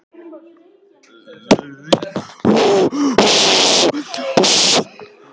Þeir vildu að ég færi, ég hefði lag á fólki, sér í lagi dyntóttum höfundum.